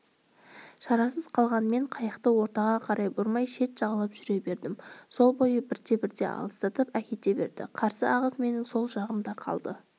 шарасыз қалған мен қайықты ортаға қарай бұрмай шет жағалап жүре бердім сол бойы бірте-бірте алыстатып әкете берді қарсы ағыс менің сол жағымда қалды